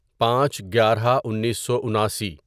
پانچ گیارہ انیسو اناسی